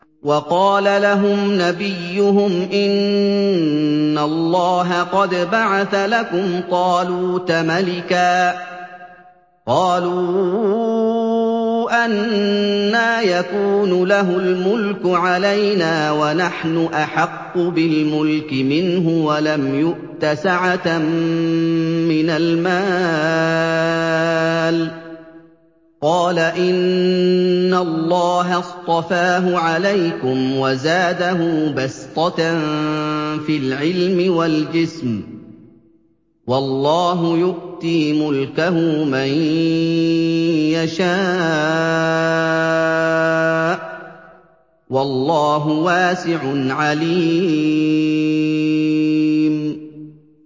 وَقَالَ لَهُمْ نَبِيُّهُمْ إِنَّ اللَّهَ قَدْ بَعَثَ لَكُمْ طَالُوتَ مَلِكًا ۚ قَالُوا أَنَّىٰ يَكُونُ لَهُ الْمُلْكُ عَلَيْنَا وَنَحْنُ أَحَقُّ بِالْمُلْكِ مِنْهُ وَلَمْ يُؤْتَ سَعَةً مِّنَ الْمَالِ ۚ قَالَ إِنَّ اللَّهَ اصْطَفَاهُ عَلَيْكُمْ وَزَادَهُ بَسْطَةً فِي الْعِلْمِ وَالْجِسْمِ ۖ وَاللَّهُ يُؤْتِي مُلْكَهُ مَن يَشَاءُ ۚ وَاللَّهُ وَاسِعٌ عَلِيمٌ